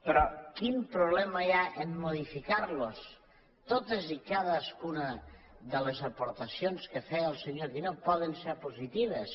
però quin problema hi ha a modificar los totes i cadascuna de les aportacions que feia el senyor guinó poden ser positives